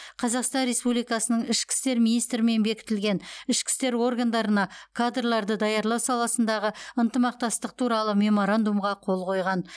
қазақстан республикасының ішкі істер министрімен бекітілген ішкі істер органдарына кадрларды даярлау саласындағы ынтымақтастық туралы меморандумға қол қойған